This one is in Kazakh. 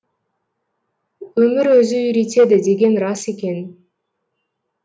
өмір өзі үйретеді деген рас екен